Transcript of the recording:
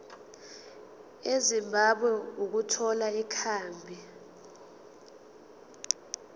ezimbabwe ukuthola ikhambi